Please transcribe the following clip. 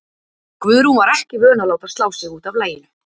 Guðrún var ekki vön að láta slá sig út af laginu.